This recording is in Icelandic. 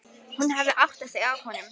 Hún hafði áttað sig á honum.